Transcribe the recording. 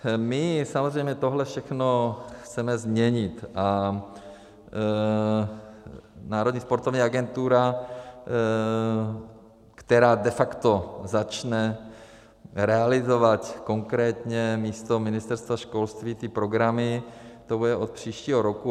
My samozřejmě tohle všechno chceme změnit, a Národní sportovní agentura, která de facto začne realizovat konkrétně místo Ministerstva školství ty programy, to bude od příštího roku.